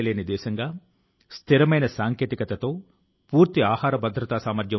మీరు సాధిస్తే అది అద్భుతమైన విజయం